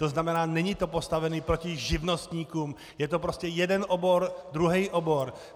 To znamená, není to postavené proti živnostníkům, je to prostě jeden obor, druhý obor.